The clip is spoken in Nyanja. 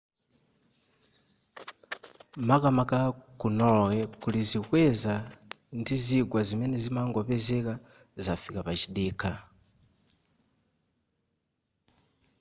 makamaka ku norway kulizikweza ndi zigwa zimene zimangopezeka zafika pachidikha